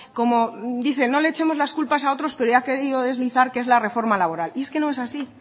como dice no le echemos las culpas a otros pero ya ha querido deslizar que es la reforma laboral y es que no es así